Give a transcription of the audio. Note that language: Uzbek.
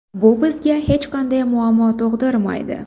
Bu bizga hech qanday muammo tug‘dirmaydi.